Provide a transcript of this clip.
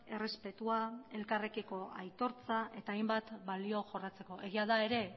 errespetua elkarrekiko aitortza eta hainbat balio jorratzeko egia da ere